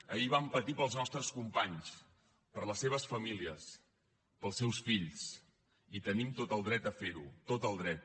ahir vam patir pels nostres companys per les seves famílies pels seus fills i tenim tot el dret a fer ho tot el dret